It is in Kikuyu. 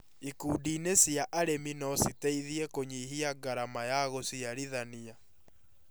Ikundi-inĩ cia arĩmi no citeithie kũnyihia ngarama ya gũciarithania